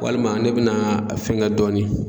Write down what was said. Walima ne bɛna a fɛŋɛ dɔɔni